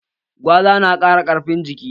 Gwaza na ƙara ƙarfin jiki